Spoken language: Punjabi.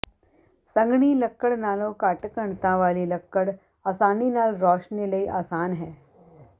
ਸੰਘਣੀ ਲੱਕੜ ਨਾਲੋਂ ਘੱਟ ਘਣਤਾ ਵਾਲੀ ਲੱਕੜ ਆਸਾਨੀ ਨਾਲ ਰੌਸ਼ਨੀ ਲਈ ਆਸਾਨ ਹੈ